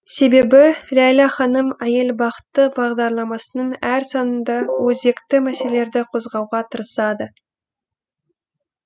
себебі ләйлә ханым әйел бақыты бағдарламасының әр санында өзекті мәселелерді қозғауға тырысады